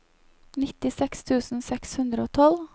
nittiseks tusen seks hundre og tolv